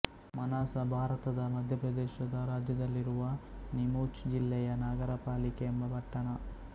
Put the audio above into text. ಮನಾಸ ಭಾರತದ ಮಧ್ಯಪ್ರದೇಶ ರಾಜ್ಯದಲ್ಲಿರುವ ನೀಮುಚ್ ಜಿಲ್ಲೆಯ ನಗರ ಪಾಲಿಕೆ ಎಂಬ ಪಟ್ಟಣ